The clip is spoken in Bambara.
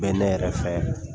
Bɛ ne yɛrɛ fɛ